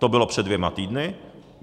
To bylo před dvěma týdny.